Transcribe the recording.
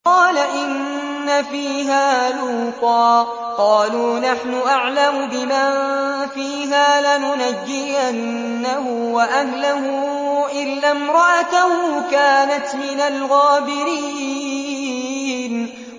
قَالَ إِنَّ فِيهَا لُوطًا ۚ قَالُوا نَحْنُ أَعْلَمُ بِمَن فِيهَا ۖ لَنُنَجِّيَنَّهُ وَأَهْلَهُ إِلَّا امْرَأَتَهُ كَانَتْ مِنَ الْغَابِرِينَ